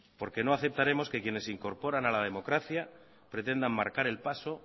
porque no aceptaremos que quienes se incorporan a la democracia pretendan marcar el paso